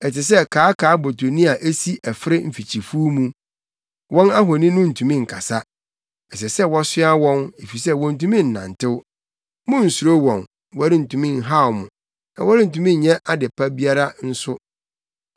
Ɛte sɛ kaakaabotoni a esi ɛfere mfikyifuw mu, wɔn ahoni no ntumi nkasa; ɛsɛ sɛ wɔsoa wɔn efisɛ wontumi nnantew. Munnsuro wɔn; wɔrentumi nhaw mo na wɔrentumi nyɛ ade pa biara nso.”